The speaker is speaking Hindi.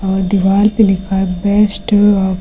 और दीवाल पे लिखा है बेस्ट ।